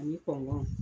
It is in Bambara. Ani